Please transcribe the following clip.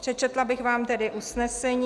Přečetla bych vám tedy usnesení.